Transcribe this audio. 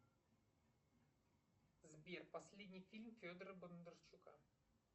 сбер последний фильм федора бондарчука